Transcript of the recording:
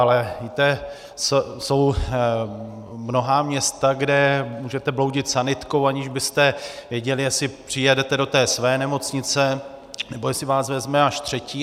Ale víte, jsou mnohá města, kde můžete bloudit sanitkou, aniž byste věděli, jestli přijedete do té své nemocnice, nebo jestli vás vezme až třetí.